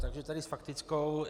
Takže tedy s faktickou.